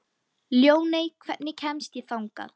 Ljóney, hvernig kemst ég þangað?